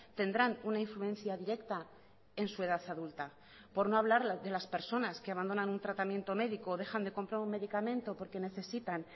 tendrán una influencia directa en su edad adulta por no hablar de las personas que abandonan un tratamiento médico o dejan de comprar un medicamento porque necesitan